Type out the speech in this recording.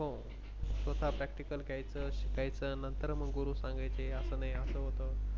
हो स्वतः Practicle घ्यायच शिकायचं नंतर मग गुरु सांगायचे अस नाही अस होत.